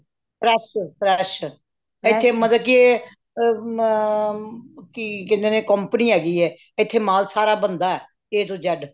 fresh ਏ fresh ਇਥੇ ਮਤਲਬ ਕਿ ਅ ਕਿ ਕਹਿੰਦੇ ਨੇ company ਹੈਗੀਏ ਇਥੇ ਮਾਲ ਸਾਰਾ ਬਣਦਾ A ਤੋਂ Z